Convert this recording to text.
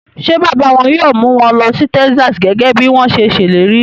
Ṣé bàbá wọn yóò mú wọn lọ sí Texas gẹ́gẹ́ bí wọ́n ṣe ṣèlérí?